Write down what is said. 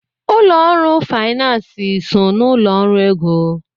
Ụlọ ọrụ finansi so n'ụlọ ọrụ ego.